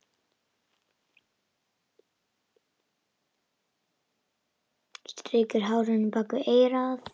Strýkur hárinu bak við eyrað.